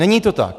Není to tak.